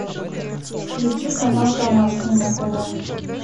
включи канал домашний на тв